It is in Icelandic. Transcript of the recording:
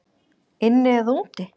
Inni eða úti?